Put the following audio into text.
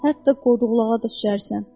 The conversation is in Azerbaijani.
Hətta qoduqluğa da düşərsən.